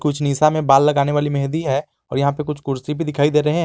कुछ निशा में बाल लगाने वाली मेहंदी है और यहां पर कुछ कुर्सी पर दिखाई दे रहे हैं।